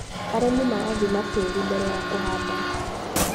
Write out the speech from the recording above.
Arĩmi marathima tĩri mbere ya kũhanda.